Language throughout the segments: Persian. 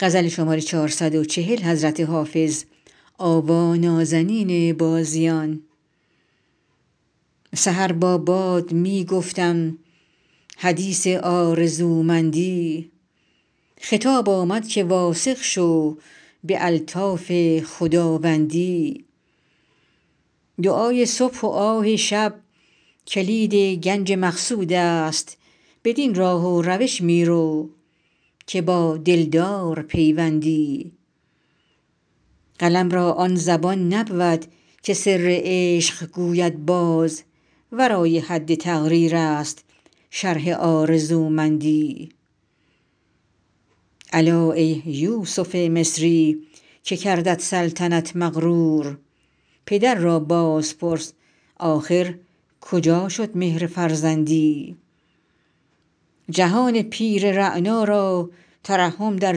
سحر با باد می گفتم حدیث آرزومندی خطاب آمد که واثق شو به الطاف خداوندی دعای صبح و آه شب کلید گنج مقصود است بدین راه و روش می رو که با دلدار پیوندی قلم را آن زبان نبود که سر عشق گوید باز ورای حد تقریر است شرح آرزومندی الا ای یوسف مصری که کردت سلطنت مغرور پدر را باز پرس آخر کجا شد مهر فرزندی جهان پیر رعنا را ترحم در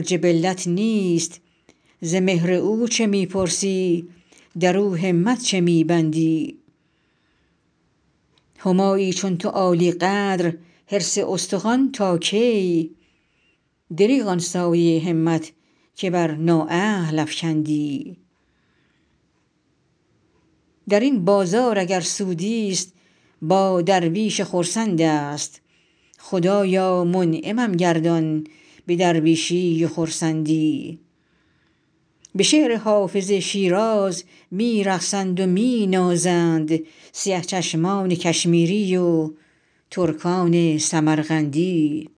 جبلت نیست ز مهر او چه می پرسی در او همت چه می بندی همایی چون تو عالی قدر حرص استخوان تا کی دریغ آن سایه همت که بر نااهل افکندی در این بازار اگر سودی ست با درویش خرسند است خدایا منعمم گردان به درویشی و خرسندی به شعر حافظ شیراز می رقصند و می نازند سیه چشمان کشمیری و ترکان سمرقندی